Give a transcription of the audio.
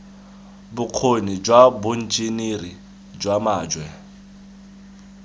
bokgoni jwa boenjiniri jwa majwe